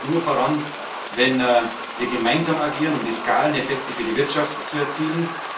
Europa kommt nur voran, wenn wir gemeinsam agieren, um die Skaleneffekte für die Wirtschaft zu erzielen.